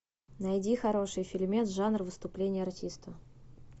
найди хороший фильмец жанр выступление артиста